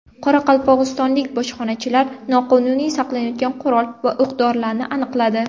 Qoraqalpog‘istonlik bojxonachilar noqonuniy saqlanayotgan qurol va o‘q-dorilarni aniqladi.